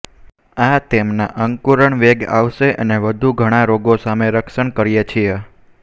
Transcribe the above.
આ તેમના અંકુરણ વેગ આવશે અને વધુ ઘણા રોગો સામે રક્ષણ કરીએ છીએ